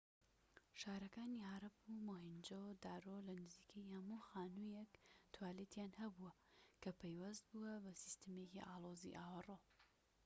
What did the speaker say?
شارەکانی هارەپ و مۆهێنجۆ-دارۆ لە نزیکەی هەموو خانوویەک توالێتیان هەبووە کە پەیوەست بووە بە سیستەمێکی ئاڵۆزی ئاوەڕۆ